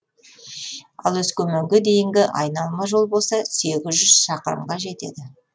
ал өскеменге дейінгі айналма жол болса сегіз жүз шақырымға жетеді